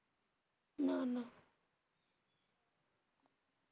না না.